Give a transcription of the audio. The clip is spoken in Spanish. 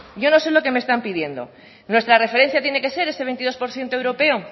yo no sé lo que me están pidiendo nuestra referencia tiene que ser ese veintidós por ciento europeo